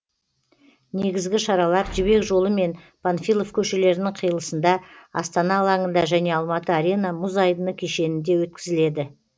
негізгі шаралар жібек жолы мен панфилов көшелерінің қиылысында астана алаңында және алматы арена мұз айдыны кешенінде өткізіледі